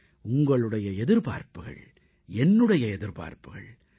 உங்களுடைய எதிர்பார்ப்புகள் என்னுடைய எதிர்பார்ப்புகள்